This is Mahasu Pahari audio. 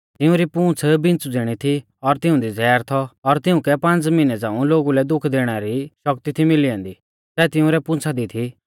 तिउंरी पूंछ़ बिच़्छ़ु ज़िणी थी और तिऊंदी ज़ैहर थौ और तिउंकै पांज़ मिहनै झ़ांऊ लोगु लै दुख दैणै री ज़ो शक्ति थी मिली ऐन्दी सै तिंउरै पूंछ़ा दी थी